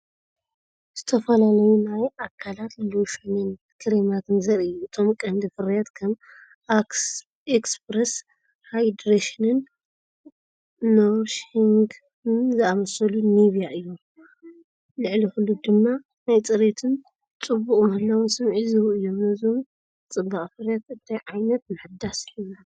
ዝተፈላለዩ ናይ ኣካላት ሎሽንን ክሬማትን ዘርኢ እዩ። እቶም ቀንዲ ፍርያት ከም "ኤክስፕረስ ሃይድሬሽን"ን "ኖሪሺንግ"ን ዝኣመሰሉ ኒቭያ እዮም። ልዕሊ ኩሉ ድማ ናይ ጽሬትን ጽቡቕ ምህላውን ስምዒት ዝህቡ እዮም። ነዞም ናይ ጽባቐ ፍርያት እንታይ ዓይነት ምሕዳስ ይስምዓካ?